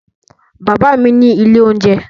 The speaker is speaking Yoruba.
Bàbá mi ní ilé-oúnjẹ.